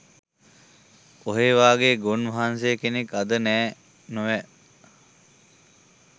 ඔහේ වගේ ගොන් වහන්සේ කෙනෙක් අද නෑ නොව.